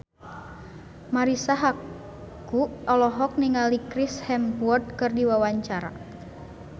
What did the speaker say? Marisa Haque olohok ningali Chris Hemsworth keur diwawancara